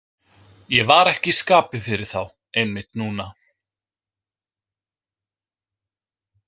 Ég var ekki í skapi fyrir þá einmitt núna.